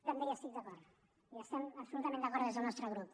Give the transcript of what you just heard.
també hi estic d’acord hi estem absolutament d’acord des del nostre grup